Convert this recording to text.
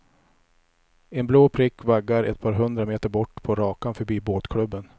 En blå prick vaggar ett par hundra meter bort på rakan förbi båtklubben.